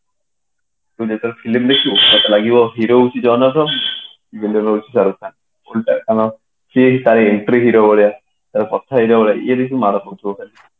କିନ୍ତୁ ତାର film ଦେଖିବୁ ତତେ ଲାଗିବା hero ହଉଛି ଜନ ଆବ୍ରାହମ villain ହଉଛି ଶାହ ରୁଖ ଖାନ ସିଏ ହିଁ ତାରି entry hero ଭଳିଆ ସବୁ କଥାରେ ଇଏ ବେଶି ମାଡ ଖାଉଥିବ ଖାଲି